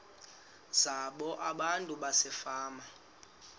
zabo abantu basefama